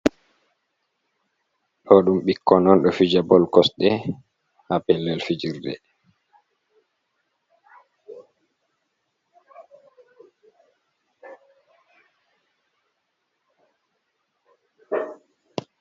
Ɗo ɗum ɓikkoi on ɗo fija bol kosɗe, ha pellel fijirde.